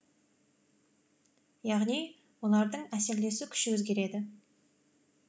яғни олардың әсерлесу күші өзгереді